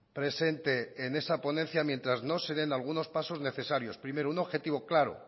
presente en esa ponencia mientras no se den algunos pasos necesarios primero un objetivo claro